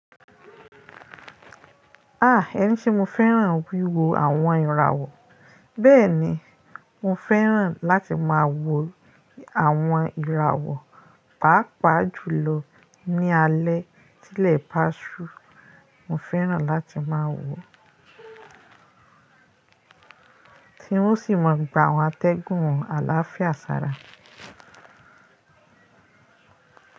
Ah! Ẹni se mo fẹ́ràn wí wo àwọn ìràwọ̀. Bẹ́ẹ̀ni, mo fẹ́ràn láti máa wo àwọn ìràwọ̀, pàápàá jùlọ ní alẹ́. Tí ilẹ̀ bá ṣú, mo fẹ́ràn láti máa wò ó. Tí un o sì máa gba àwọn atẹ́gùn àlàáfíà sára.